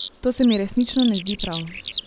To se mi resnično ne zdi prav.